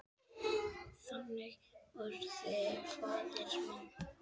Þannig orti faðir minn.